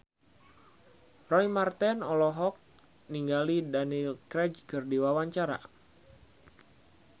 Roy Marten olohok ningali Daniel Craig keur diwawancara